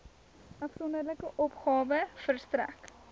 afsonderlike opgawe verstrek